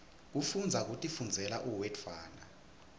kufundza kutifundzela uwedwana